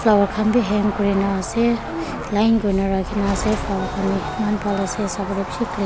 flower khan bhi hang kuri na ase line kuri na rakhi na ase flower khan bhi eman bhal ase sab racksekli.